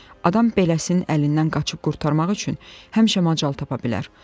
Adam beləsinin əlindən qaçıb qurtarmaq üçün həmişə macal tapa bilər.